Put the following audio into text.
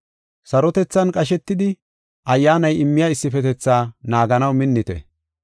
Sarotethan qashetidi Ayyaanay immiya issifetetha naaganaw minnite.